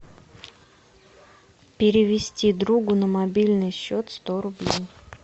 перевести другу на мобильный счет сто рублей